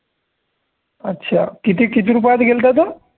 अच्छा. किती किती रुपयात गेलता तो